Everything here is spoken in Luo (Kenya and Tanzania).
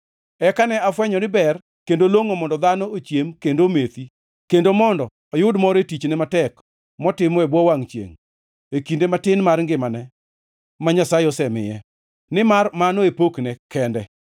Eka ne afwenyo ni ber kendo longʼo mondo dhano ochiem kendo omethi, kendo mondo oyud mor e tichne matek motimo e bwo wangʼ chiengʼ e kinde matin mar ngimane ma Nyasaye osemiye, nimar mano e pokne kende.